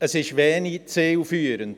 Das Instrument ist wenig zielführend.